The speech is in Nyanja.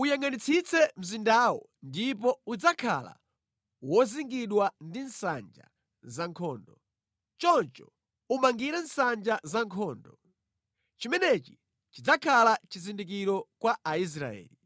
Uyangʼanitsitse mzindawo ndipo udzakhala wozingidwa ndi nsanja za nkhondo. Choncho umangire nsanja zankhondo. Chimenechi chidzakhala chizindikiro kwa Aisraeli.